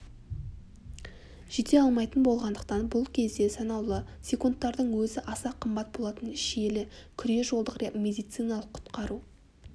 жете алмайтын болғандықтан бұл кезде санаулы секундтардың өзі аса қымбат болатын шиелі күре-жолдық медициналық құтқару